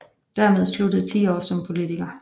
Dermed sluttede 10 år som politiker